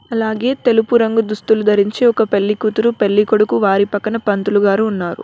అలాగే తెలుపు రంగు దుస్తులు ధరించి ఒక పెళ్లి కూతురు పెళ్ళికొడుకు వారి పక్కన పంతులు గారు ఉన్నారు.